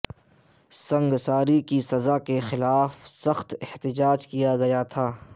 سنگساری کی سزا کے خلاف سخت احتجاج کیا گیا تھا